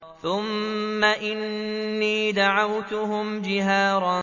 ثُمَّ إِنِّي دَعَوْتُهُمْ جِهَارًا